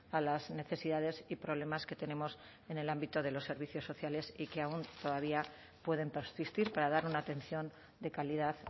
a las necesidades y problemas que tenemos en el ámbito de los servicios sociales y que aun todavía pueden persistir para dar una atención de calidad